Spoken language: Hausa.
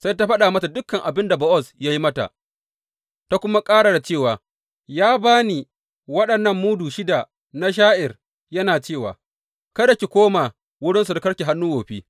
Sai ta faɗa mata dukan abin da Bowaz ya yi mata ta kuma ƙara da cewa, Ya ba ni waɗannan mudu shida na sha’ir, yana cewa, Kada ki koma wurin surukarki hannu wofi.’